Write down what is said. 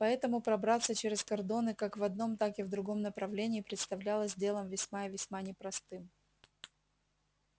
поэтому пробраться через кордоны как в одном так и в другом направлении представлялось делом весьма и весьма непростым